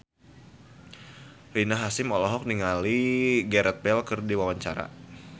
Rina Hasyim olohok ningali Gareth Bale keur diwawancara